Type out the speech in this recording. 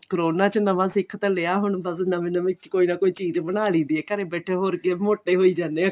corona ਚ ਨਵਾਂ ਸਿੱਖ ਤਾਂ ਲਿਆ ਹੁਣ ਬੱਸ ਨਵੀਂ ਨਵੀਂ ਕੁੱਛ ਕੋਈ ਨਾ ਕੋਈ ਚੀਜ਼ ਬਣਾ ਲਈ ਦੀ ਏ ਘਰੇ ਬੈਠੇ ਹੋਰ ਕੀ ਮੋਟੇ ਹੋਈ ਜਾਣੇ ਆ